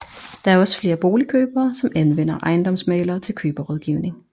Der er også flere boligkøbere som anvender ejendomsmæglere til køberrådgivning